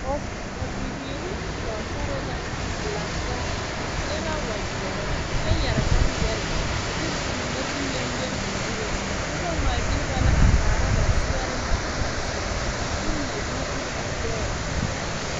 pɔ ba bibiiri ne pɔgesare la a lantaa ba seɛ la wagyere kyɛ yɛre boŋyɛre a de boma mine lele ba zuree noba ŋmaa gyili ba la a kaara ba zeɛre na ba naŋ seɛrɛ a de mine vilivili ba gbɛɛ kyɛ eŋ nɔɔteɛ